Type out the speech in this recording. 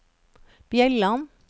Bjelland